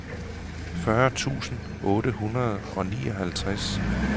fyrre tusind otte hundrede og nioghalvtreds